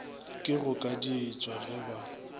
ke go kadietšwa ge ba